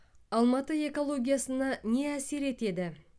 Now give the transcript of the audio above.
алматы экологиясына не әсер етеді